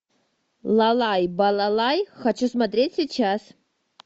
лалай балалай хочу смотреть сейчас